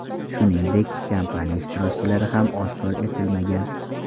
Shuningdek, kampaniya ishtirokchilari ham oshkor etilmagan.